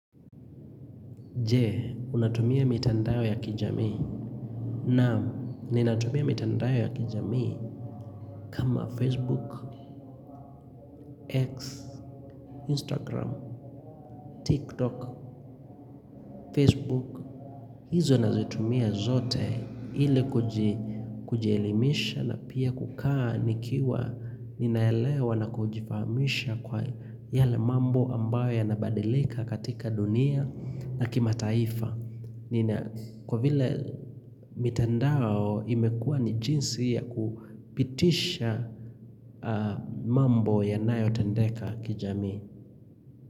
Je, unatumia mitandao ya kijamii. Naam, ninatumia mitandao ya kijamii kama Facebook, X, Instagram, TikTok, Facebook. Hizo nazitumia zote hili kujielimisha na pia kukaa nikiwa ninaelewa na kujifahamisha kwa yale mambo ambayo yanabadilika katika dunia na kimataifa. Nina kwa vile mitandao imekua ni jinsi ya kupitisha mambo yanayotendeka kijamii.